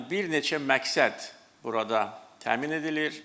Yəni bir neçə məqsəd burada təmin edilir.